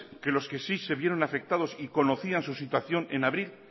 que los que sí se vieron afectados y conocían su situación en abril